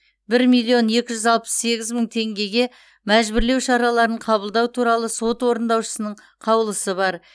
бір миллион екі жүз алпыс сегіз мың теңгеге мәжбүрлеу шараларын қабылдау туралы сот орындаушысының қаулысы бар